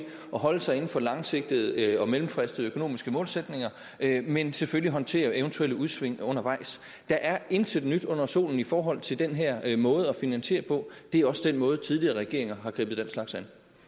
at holde sig inden for langsigtede og mellemfristede økonomiske målsætninger men selvfølgelig håndtere eventuelle udsving undervejs der er intet nyt under solen i forhold til den her måde at finansiere på det er også den måde tidligere regeringer har grebet den slags